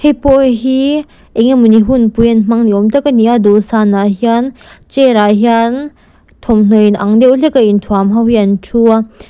hei pawh hi engemawni hunpui an hmang niawm tak a ni a dawhsan ah hian chair ah hian thawmhnaw in ang deuh hlek a inthuam ho hi an thu a.